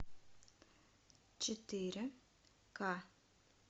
четыре ка